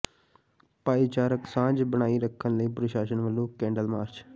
ਭਾਈਚਾਰਕ ਸਾਂਝ ਬਣਾਈ ਰੱਖਣ ਲਈ ਪ੍ਰਸ਼ਾਸਨ ਵੱਲੋਂ ਕੈਂਡਲ ਮਾਰਚ